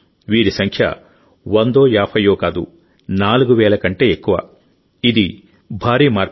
వీరి సంఖ్య వందో యాభయ్యో కాదు నాలుగు వేల కంటే ఎక్కువ ఇది భారీ మార్పు